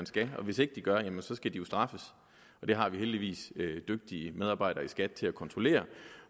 skal og hvis ikke de gør skal de straffes det har vi heldigvis dygtige medarbejdere i skat til at kontrollere